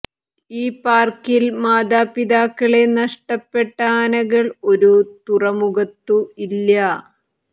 ഈ പാർക്കിൽ മാതാപിതാക്കളെ നഷ്ടപ്പെട്ട ആനകൾ ഒരു തുറമുഖത്തു ഇല്ല